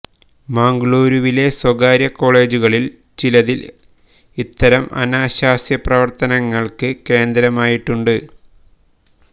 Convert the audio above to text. മംഗളുരുവിലെ സ്വകാര്യ കോളേജുകളിൽ ചിലതിൽ ഇത്തരം അനാശാസ്യ പ്രവർത്തനങ്ങൾക്ക് കേന്ദ്രമായിട്ടുണ്ട്